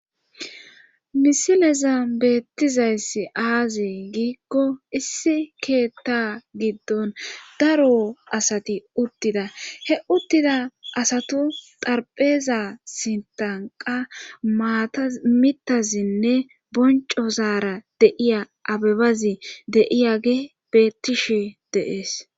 Misileza beettizayssi aazi giikko issi keetta giddon daro asati uttida he uttida asatu tarpheeza sintanqa maata mitazinne bonco zaara deiya abebazi deiya gi beettishi deees.